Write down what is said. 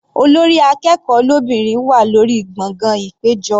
Olórí akẹ́kọ̀ọ́ lóbìnrin wà lórí gbọ̀ngàn ìpéjọ.